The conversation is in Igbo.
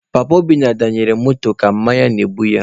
Papa Obinna danyelụ moto ka mmanya na-egbu ya.